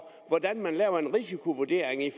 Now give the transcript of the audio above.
hvordan man laver en risikovurdering i